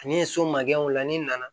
Ani so makɛw la ni nana